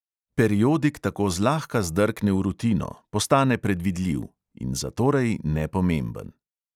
Periodik tako zlahka zdrkne v rutino, postane predvidljiv – in zatorej nepomemben.